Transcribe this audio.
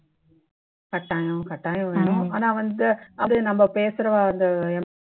கட்டாயம் கட்டாயம் வேணும் ஆனா வந்து அது நம்ம பேசுறவா